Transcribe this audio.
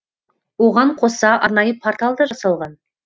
оған қоса арнайы портал да жасалған